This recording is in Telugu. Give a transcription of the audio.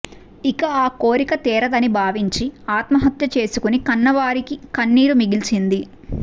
ఇక ఆ కోరిక తీరదని భావించి ఆత్మహత్య చేసుకుని కన్నవారికి కన్నీరు మిగిల్చింది